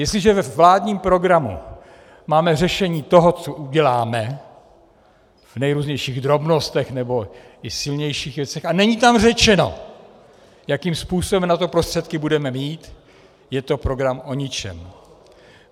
Jestliže ve vládním programu máme řešení toho, co uděláme v nejrůznějších drobnostech nebo i silnějších věcech, a není tam řečeno, jakým způsobem na to prostředky budeme mít, je to program o ničem.